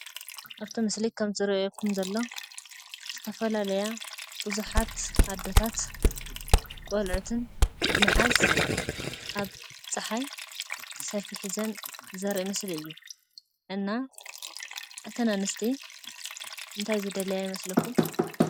ኣብቲ ምስሊ ከም ዝረኣየኩም ዘሎ ዝተፈላለያ ብዙሓት ኣዶታት ቆልዕትን ብምሓዝ ኣብ ፅሓይ ሰልፊ ሒዘን ዘርኢ ምስሊ እዩ። እና እተን ኣንስቲ እንታይ ዝደልያ ይመስለኩም?